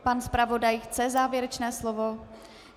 Pan zpravodaj chce závěrečné slovo?